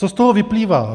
Co z to vyplývá.